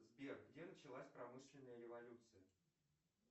сбер где началась промышленная революция